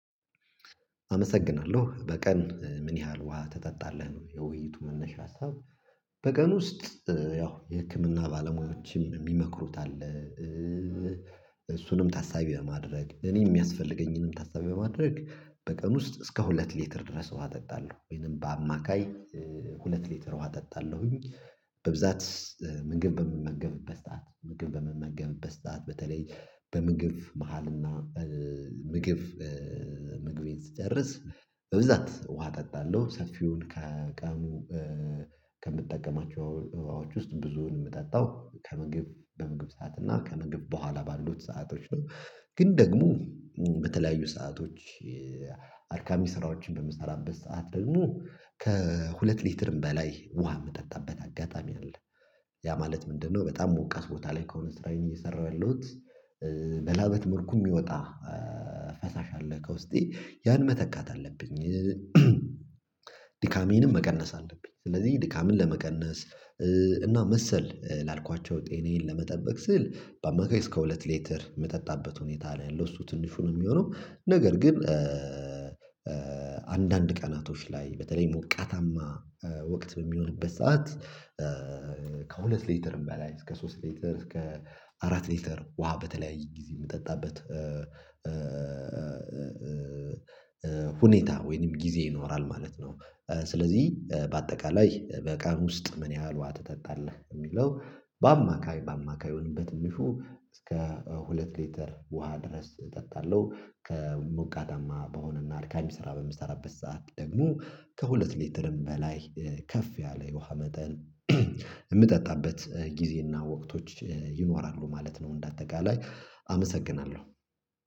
አመሰግናለሁ። በቀን ምን ያህል ውሃ ትጠጣለህ? ነው የውይይቱ መነሻ ሀሳብ። በቀን ውስጥ ያው የህክምና ባለሙያዎችም የሚመክሩት አለ። እሱንም ታሳቢ በማድረግ እኔ የሚያስፈልገኝንም ታሳቢ በማድረግ በቀን ውስጥ እስከ ሁለት ሊትር ድረስ ውሃ እጠጣለሁ። ወይንም በአማካይ ሁለት ሊትር ውሃ እጠጣለሁኝ። በብዛት ምግብ በምመገብበት ሰዓት ምግብ በምመገብበት ሰዓት በተለይ በምግብ መሃልና ምግብ ምግቤን ስጨርስ በብዛት ውሃ እጠጣለሁ ሰፊውን ከቀኑ ከምጠቀማቸው ውሃዎች ውስጥ ብዙውን የምጠጣው ከምግብ በምግብ ሰዓት እና ከምግብ በኋላ ባሉት ሰአቶች ነው። ግን ደግሞ በተለያዩ ሰአቶች አድካሚ ስራዎችን በምሰራበት ሰዓት ደግሞ ከሁለት ሊትርም በላይ ውሃ የምጠጣበት አጋጣሚ አለ። ያ ማለት ምንድነው በጣም ሞቃት ቦታ ላይ ከሆነ ስራዬን እየሰራሁ ያለሁት በላበት መልኩ የሚወጣ ፈሳሽ አለ ከውስጤ። ያን መተካት አለብኝ፤ ድካሜንም መቀነስ አለብኝ። ስለዚህ ድካምን ለመቀነስ እና መሰል ላልኳቸው ጤናዬን ለመጠበቅ ስል በአማካኝ እስከ ሁለት ሌተር የምጠጣበት ሁኔታ ነው ያለው። እሱ ትንሹ ነው የሚሆነው ነገር ግን አንዳንድ ቀናቶች ላይ በተለይ ሞቃታማ ወቅት በሚኖርበት ሰዓት ከሁለት ሊትርም በላይ እስከ ሶስት ሊትር እስከ አራት ሊትር ውሃ በተለያየ ጊዜ የምጠጣበት ሁኔታ ወይንም ጊዜ ይኖራል ማለት ነው። ስለዚህ በአጠቃላይ በቀን ውስጥ ምን ያህል ውሃ ትጠጣለህ? የሚለው በአማካይ በአማካዩን በትንሹ እስከ ሁለት ሊተር ውሃ ድረስ እጠጣለሁ። ከሞቀታማ በሆነና አድካሚ ስራ በምሰራበት ሰዓት ደግሞ ከሁለት ሊትርም በላይ ከፍ ያለ የውሃ መጠን የምጠጣበት ጊዜና ወቅቶች ይኖራሉ ማለት ነው እንደ አጠቃላይ። አመሰግናለሁ።